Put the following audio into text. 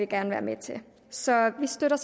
gerne være med til så vi støtter